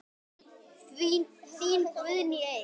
Þín Guðný Eik.